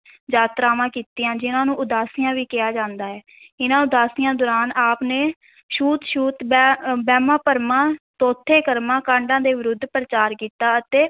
ਯਾਤਰਾਵਾਂ ਕੀਤੀਆਂ, ਜਿਹਨਾਂ ਨੂੰ ਉਦਾਸੀਆਂ ਵੀ ਕਿਹਾ ਜਾਂਦਾ ਹੈ, ਇਨ੍ਹਾਂ ਉਦਾਸੀਆਂ ਦੌਰਾਨ ਆਪ ਨੇ ਛੂਤ-ਛੂਤ, ਵਹਿ~ ਵਹਿਮਾਂ-ਭਰਮਾਂ, ਥੋਥੇ-ਕਰਮਾਂ ਕਾਂਡਾਂ ਦੇ ਵਿਰੁੱਧ ਪ੍ਰਚਾਰ ਕੀਤਾ ਅਤੇ